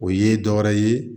O ye dɔ wɛrɛ ye